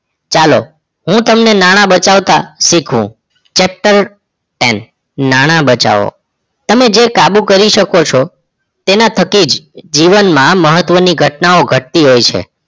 ચલો હું તમને નાણાં બચવતા શીખવુ Chapter ten નાણાં બચવો તમે જે કાબુ કરી શકો છો તેના થકી જ જીવન માં મહત્વ ની ઘટના ઘટતી હોય છે